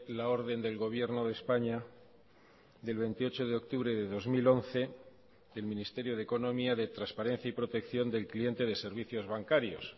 la orden del gobierno de españa del veintiocho de octubre de dos mil once del ministerio de economía de transparencia y protección del cliente de servicios bancarios